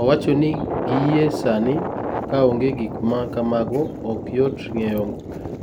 Owacho ni gie sani, ka onge gik ma kamago, ok yot ng'eyo